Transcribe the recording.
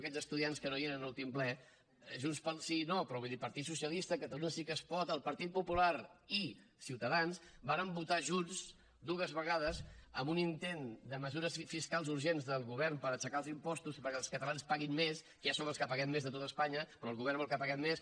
aquests estudiants que no hi eren a l’últim ple junts pel sí no però partit socialista catalunya sí que es pot el partit popular i ciutadans vàrem votar junts dues vegades en un intent de mesures fiscals urgents del govern per aixecar els impostos i perquè els catalans paguin més que ja som els que paguem més de tot espanya però el govern vol que paguem més